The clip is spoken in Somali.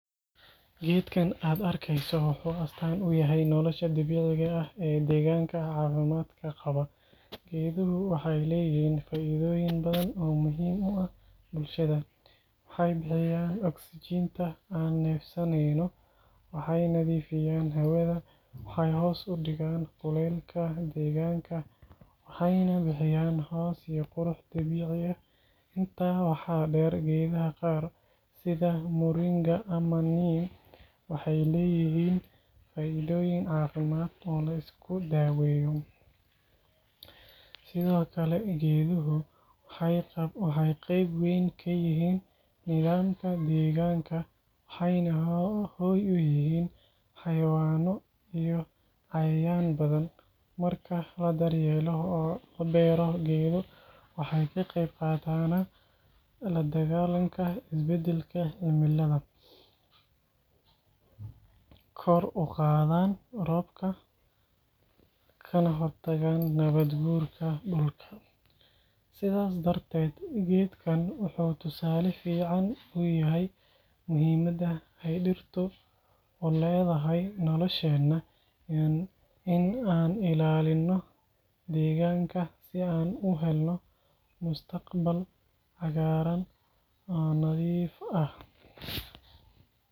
Geedkan aad arkayso wuxuu astaan u yahay nolosha dabiiciga ah iyo deegaanka caafimaadka qaba. Geeduhu waxay leeyihiin faa’iidooyin badan oo muhiim u ah bulshada: waxay bixiyaan oksijiinta aan neefsaneyno, waxay nadiifiyaan hawada, waxay hoos u dhigaan kuleylka deegaanka, waxayna bixiyaan hoos iyo qurux dabiici ah. Intaa waxaa dheer, geedaha qaar – sida Moringa ama Neem – waxay leeyihiin faa’iidooyin caafimaad oo la isku daweeyo. Sidoo kale, geeduhu waxay qayb weyn ka yihiin nidaamka deegaanka, waxayna hoy u yihiin xayawaanno iyo cayayaan badan. Marka la daryeelo oo la beero geedo, waxay ka qayb qaataan la dagaallanka isbeddelka cimilada, kor u qaadaan roobka, kana hortagaan nabaadguurka dhulka. Sidaas darteed, geedkan wuxuu tusaale fiican u yahay muhiimadda ay dhirtu u leedahay nolosheenna iyo in aan ilaalino deegaanka si aan u helno mustaqbal cagaaran oo nadiif ah.